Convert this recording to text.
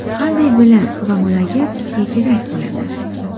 Qanday bilim va malaka sizga kerak bo‘ladi?